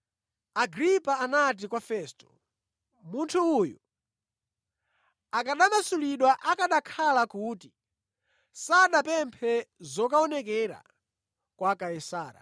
Agripa anati kwa Festo, “Munthu uyu akanamasulidwa akanakhala kuti sanapemphe zokaonekera kwa Kaisara.”